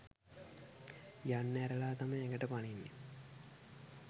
යන්න ඇරලා තමයි ඇඟට පනින්නේ.